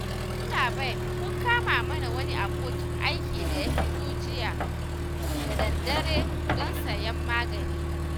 Yallaɓai kun kama mana wani abokin aiki da ya fito jiya da daddare don sayen magani